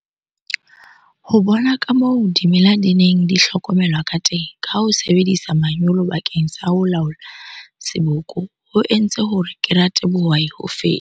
Ho bona kamoo dimela di neng di hlokomelwa kateng ka ho sebedisa manyolo bakeng sa ho laola seboko ho entse hore ke rate bohwai ho feta.